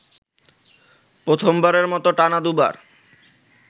প্রথমবারের মতো টানা দুবার